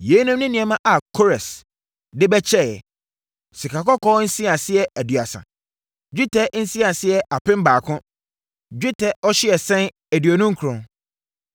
Yeinom ne nneɛma a Kores de bɛkyɛeɛ: 1 sikakɔkɔɔ nsiaseɛ 2 30 1 dwetɛ nsiaseɛ 2 1,000 1 dwetɛ ɔhyeɛsɛn 2 29 1